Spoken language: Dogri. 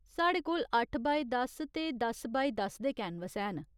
साढ़े कोल अट्ठ बाय दस ते दस बाय दस दे कैनवस हैन।